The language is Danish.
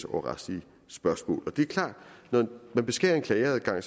over retslige spørgsmål det er klart at når man beskærer en klageadgang